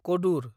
कदुर